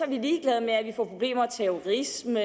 vi ligeglade med at vi får problemer med terrorisme